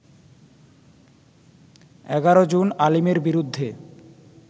১১ জুন আলীমের বিরুদ্ধে